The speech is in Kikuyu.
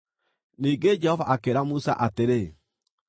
Ningĩ Jehova akĩĩra Musa atĩrĩ,